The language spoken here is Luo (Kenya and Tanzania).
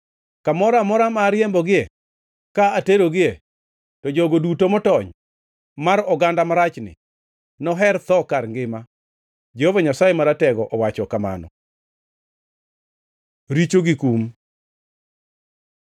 Kamoro amora ma ariembogi ka aterogie, to jogo duto motony mar oganda marachni noher tho kar ngima, Jehova Nyasaye Maratego owacho kamano.’ Richo gi kum